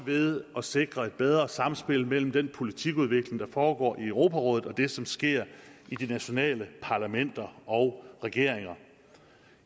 ved at sikre et bedre samspil mellem den politikudvikling der foregår i europarådet og det som sker i de nationale parlamenter og regeringer